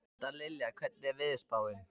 Dallilja, hvernig er veðurspáin?